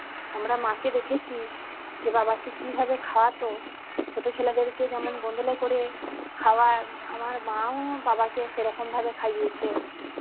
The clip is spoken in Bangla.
আমরা মা কে দেখেছি যে বাবাকে কি ভাবে খাওয়াতো ছোট ছেলেদের কে যেমন গোদলে করে খাওয়ায় আমার মা ও বাবাকে সেরকম ভাবে খাইয়েছে